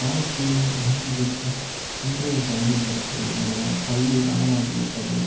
வாழ்க்கை இன்றைக்கு ம் இன்றைய கல்வி கற்பது மூலம் கல்வி வனம் ஆகிவிட்டது